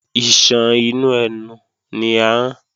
Iṣan inú ẹnu ni ahọ́n